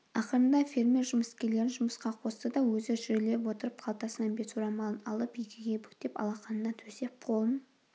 ақырында фермер жұмыскерлерін жұмысқа қосты да өзі жүрелеп отырып қалтасынан бет орамалын алып екіге бүктеп алақанына төсеп қолын